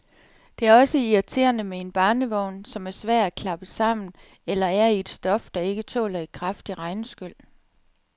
Det er også irriterende med en barnevogn, som er svær at klappe sammen, eller er i et stof, der ikke tåler et kraftigt regnskyl.